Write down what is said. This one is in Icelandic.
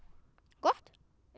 gott